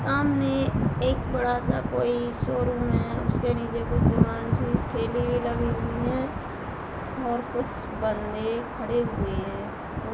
सामने एक बड़ा सा कोई शोरूम है उसके नीचे कुछ दुकान सी ठेली भी लगी हुई है और कुछ बन्दे खड़े हुए है।